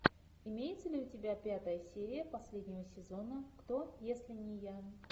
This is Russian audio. имеется ли у тебя пятая серия последнего сезона кто если не я